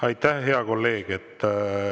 Aitäh, hea kolleeg!